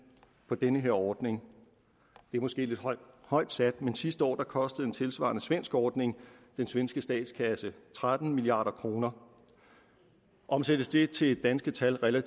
for den her ordning det er måske lidt højt sat men sidste år kostede en tilsvarende svensk ordning den svenske statskasse tretten milliard kroner omsættes det til danske tal og